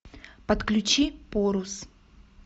подключи порус